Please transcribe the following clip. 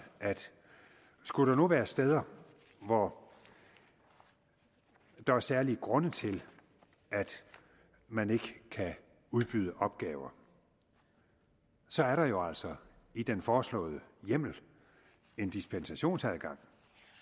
at skulle der nu være steder hvor der er særlige grunde til at man ikke kan udbyde opgaver så er der jo altså i den foreslåede hjemmel en dispensationsadgang